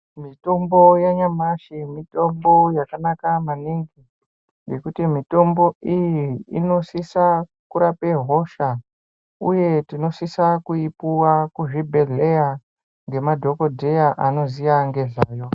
Mitombo yanyamashi mitombo yakanaka maningi ngekuti mitombo iyi inosisa kurape hosha uye tinosisa kuipuwa kuzvibhedhleya ngemadhokodheya anoziya ngezvayo.